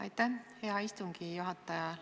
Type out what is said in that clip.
Aitäh, hea istungi juhataja!